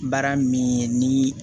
Baara min ye ni